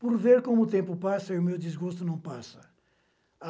Por ver como o tempo passa, e o meu desgosto não passa.